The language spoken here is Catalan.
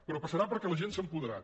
però passarà perquè la gent s’ha apoderat